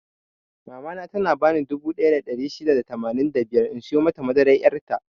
Mama na ta bani dubu ɗaya da ɗari shida da tamanin da biyar in siyo mata madaran yar' ta.